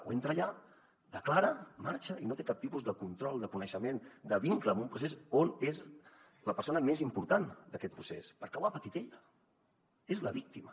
o entra allà declara marxa i no té cap tipus de control de coneixement de vincle amb un procés on és la persona més important d’aquest procés perquè ho ha patit ella és la víctima